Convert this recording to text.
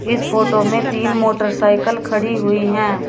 इस फोटो में तीन मोटरसाइकिल खड़ी हुई हैं।